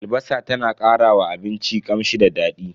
Albasa ta na karawa abinci kamshi da dadi.